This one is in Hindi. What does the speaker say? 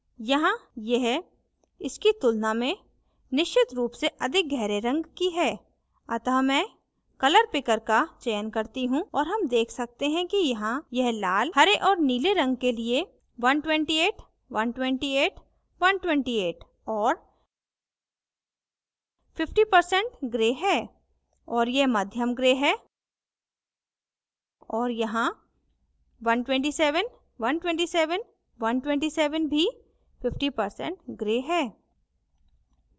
अतः मैं colour picker का चयन करती हूँ और हम देख सकते हैं कि यहाँ यह लाल here और नीले रंग के लिए 128128128 और 50% gray है और यह मध्यम gray हैं और यहाँ 127127127 भी 50% gray है